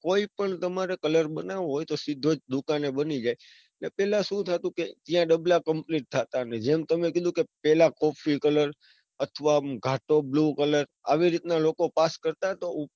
કોઈપણ તમારે colour બનાવો હોય તો સીધો જ દુકાને બની જાય. ને પેલા સુ થતું કે જ્યાં ડબલા complete થતા ને જેમ તમે કીધું કે પેલા coffe colour અથવા ઘાટો blue colour એવી રીતના લોકો pass કરતા.